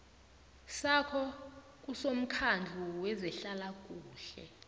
sakho kusomkhandlu wezehlalakuhle